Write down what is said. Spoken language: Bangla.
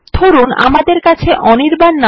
ধরুন আমাদের কাছে অনির্বাণ